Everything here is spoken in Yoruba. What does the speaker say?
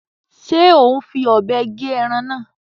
Ṣe o n fí òbé gé ẹran náà?